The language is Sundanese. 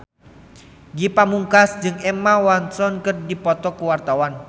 Ge Pamungkas jeung Emma Watson keur dipoto ku wartawan